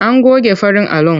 An goge farin alon.